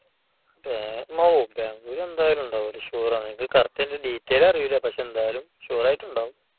ബാംഗ്ലൂർ എന്തായാലും ഉണ്ടാകും. അത് sure ആണ്. എനിക്ക് correct ആയിട്ട് അതിന്റെ details അറിയില്ല. പക്ഷെ എന്തായാലും sure ആയിട്ട് ഉണ്ടാകും.